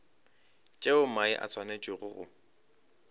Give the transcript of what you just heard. tšeo mae a swanetšego go